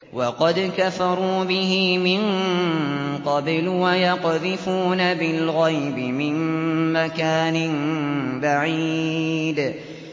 وَقَدْ كَفَرُوا بِهِ مِن قَبْلُ ۖ وَيَقْذِفُونَ بِالْغَيْبِ مِن مَّكَانٍ بَعِيدٍ